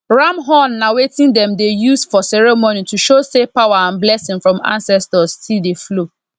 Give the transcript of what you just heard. ram horn na wetin dem dey use for ceremony to show say power and blessing from ancestors still dey flow